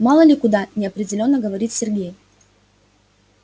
мало ли куда неопределённо говорит сергей